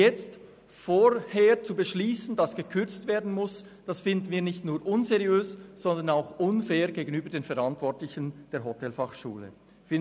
Vorgängig zu beschliessen, dass gekürzt werden muss, finden wir nicht nur unseriös, sondern auch unfair gegenüber den Verantwortlichen der Hotelfachschule Thun.